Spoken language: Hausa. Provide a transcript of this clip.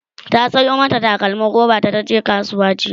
ta Sayo mata takalmim roba da taje kasuwa jiya